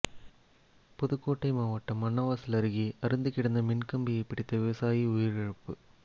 புதுக்கோட்டை மாவட்டம் அன்னவாசல் அருகே அறுந்து கிடந்த மின்கம்பியை பிடித்த விவசாயி உயிரிழப்பு